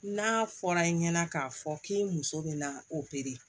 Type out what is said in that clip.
N'a fɔra i ɲɛna k'a fɔ k'i muso bɛ na opere